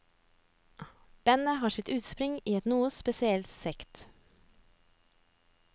Bandet har sitt utspring i en noe spesiell sekt.